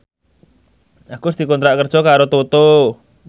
Agus dikontrak kerja karo Toto